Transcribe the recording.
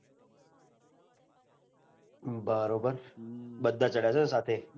બરોબર બધા ચડ્યા હસો સાથે